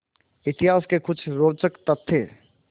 इतिहास के कुछ रोचक तथ्य